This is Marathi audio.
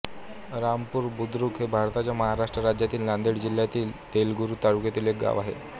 रामपूर बुद्रुक हे भारताच्या महाराष्ट्र राज्यातील नांदेड जिल्ह्यातील देगलूर तालुक्यातील एक गाव आहे